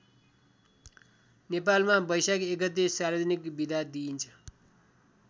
नेपालमा बैशाख १ गते सार्वजनिक बिदा दिइन्छ।